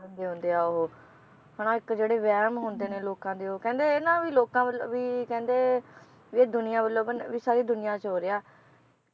ਕਹਿੰਦੇ ਹੁੰਦੇ ਆ ਉਹ, ਹਨਾ ਇੱਕ ਜਿਹੜੇ ਵਹਿਮ ਹੁੰਦੇ ਨੇ ਲੋਕਾਂ ਦੇ ਉਹ ਕਹਿੰਦੇ ਇਹਨਾਂ ਵੀ ਲੋਕਾਂ ਵੱਲ ਵੀ ਕਹਿੰਦੇ ਵੀ ਇਹ ਦੁਨੀਆਂ ਵੱਲੋਂ ਬਣ~ ਵੀ ਸਾਰੀ ਦੁਨੀਆਂ ਚ ਹੋ ਰਿਹਾ